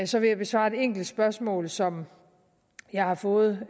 så vil jeg besvare et enkelt spørgsmål som jeg har fået